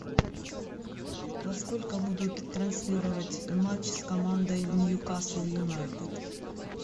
во сколько будут транслировать матч с командой ньюкасл юнайтед